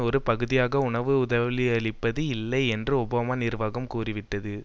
ஒரு பகுதியாக உணவு உதவியளிப்பது இல்லை என்று ஒபாமா நிர்வாகம் கூறிவிட்டது